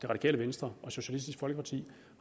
radikale venstre og socialistisk folkeparti